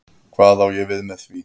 Hvað á ég við með því?